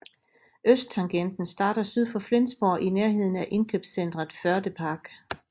Østtangenten starter syd for Flensborg i nærheden af indkøbscentret Förde Park